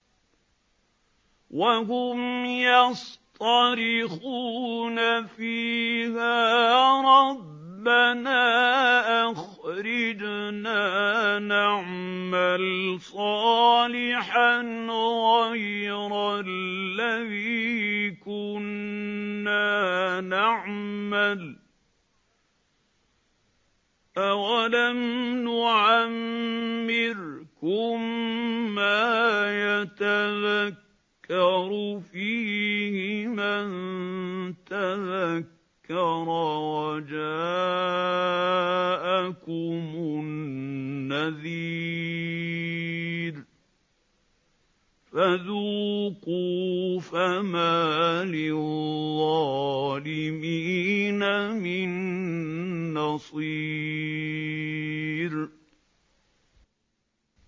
وَهُمْ يَصْطَرِخُونَ فِيهَا رَبَّنَا أَخْرِجْنَا نَعْمَلْ صَالِحًا غَيْرَ الَّذِي كُنَّا نَعْمَلُ ۚ أَوَلَمْ نُعَمِّرْكُم مَّا يَتَذَكَّرُ فِيهِ مَن تَذَكَّرَ وَجَاءَكُمُ النَّذِيرُ ۖ فَذُوقُوا فَمَا لِلظَّالِمِينَ مِن نَّصِيرٍ